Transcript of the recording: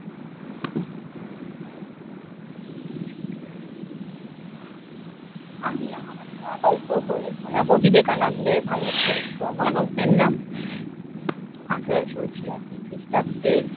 আমি এখন একটা গল্প পড়ে শোনাব। বিবেকানন্দের ভারত পরিক্রমা গল্পের নাম। আঠারোশ ছিয়াত্তর খ্রিষ্টাব্দে